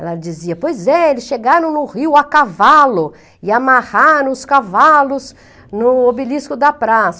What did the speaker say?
Ela dizia, pois é, eles chegaram no rio a cavalo e amarraram os cavalos no obelisco da praça.